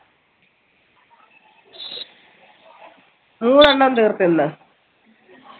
എണ്ണം തീർത്ത് ഇന്ന്